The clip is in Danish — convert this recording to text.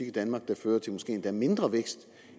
i danmark der fører til måske endda mindre vækst